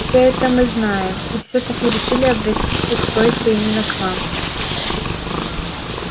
всё это мы знаем и всё таки решили обратиться с просьбой именно к вам